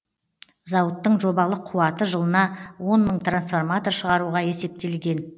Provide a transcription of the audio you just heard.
зауыттың жобалық қуаты жылына он мың трансформатор шығаруға есептелген